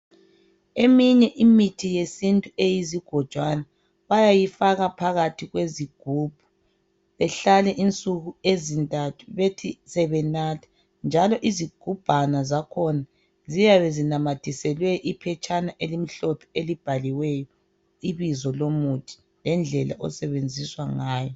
Eminye imithi yesintu eyizigodwana bayayifaka phakathi kwezigibhu ihlale insuku ezintathu bethi sebenatha njalo izigubhana zakhona ziyabe namathiselwe iphetshana elimhlophe elibhalwe ibizo lomuthi lendlela elisebenziswa ngayo.